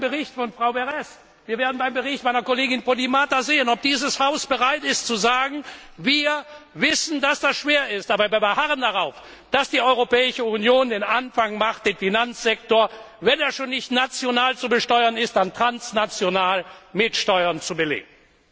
Wir werden beim Bericht von Frau Berès und beim Bericht meiner Kollegin Podimata sehen, ob dieses Haus bereit ist zu sagen Wir wissen, dass das schwer ist, aber wir beharren darauf, dass die Europäische Union den Anfang macht, um den Finanzsektor, wenn er schon nicht national zu besteuern ist, dann transnational mit Steuern zu belegen.